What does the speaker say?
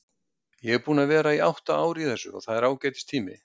Ég er búinn að vera átta ár í þessu og það er ágætis tími.